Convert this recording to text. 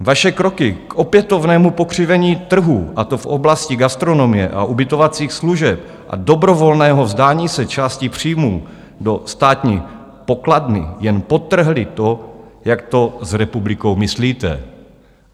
Vaše kroky k opětovnému pokřivení trhu, a to v oblasti gastronomie a ubytovacích služeb a dobrovolného vzdání se části příjmů do státní pokladny, jen podtrhly to, jak to s republikou myslíte.